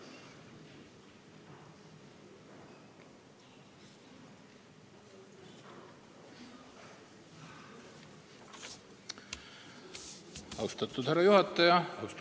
Austatud härra juhataja!